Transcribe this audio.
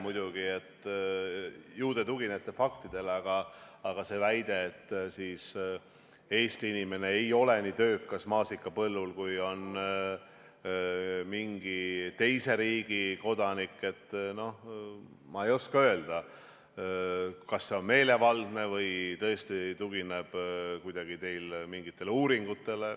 Ju te tuginete faktidele, aga see väide, et Eesti inimene ei ole nii töökas maasikapõllul, kui on mingi teise riigi kodanik – ma ei oska öelda, kas see on meelevaldne või tõesti tugineb mingitele uuringutele.